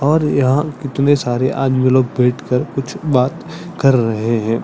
और यहाँ कितने सारे आदमी लोग बैठ कर कुछ बात कर रहे है।